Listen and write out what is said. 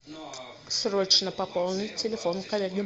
срочно пополнить телефон коллеги